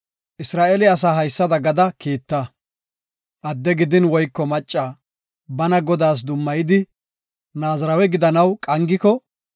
“Isra7eele asaa haysada gada kiita; adde gidin woyko macca bana Godaas dummayidi Naazirawe gidanaw qangiko,